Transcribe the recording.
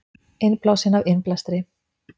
Innblásinn af innblæstri